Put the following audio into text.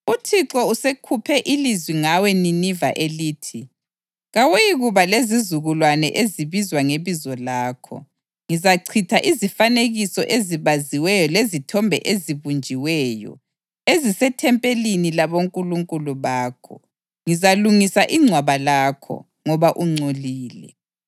UThixo usekhuphe ilizwi ngawe Nineve elithi, “Kawuyikuba lezizukulwane ezibizwa ngebizo lakho. Ngizachitha izifanekiso ezibaziweyo lezithombe ezibunjiweyo ezisethempelini labonkulunkulu bakho. Ngizalungisa ingcwaba lakho, ngoba ungcolile.”